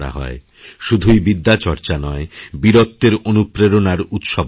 শুধুই বিদ্যার্চনা নয় বীরত্বের অনুপ্রেরণার উৎসবও বটে